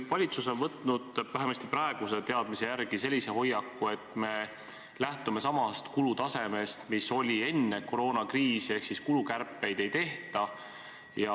Valitsus on võtnud vähemasti praeguse teadmise järgi sellise hoiaku, et me lähtume samast kulutasemest, mis oli enne koroonakriisi, ehk kulukärpeid ei tehta.